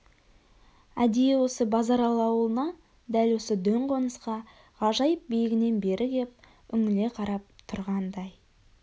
әдейі осы базаралы аулына дәл осы дөң қонысқа ғажайып биігінен бері кеп үңіле қарап тұрғандай